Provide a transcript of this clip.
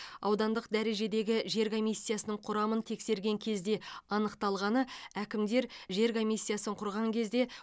аудандық дәрежедегі жер комиссиясының құрамын тексерген кезде анықталғаны әкімдер жер комиссиясын құрған кезде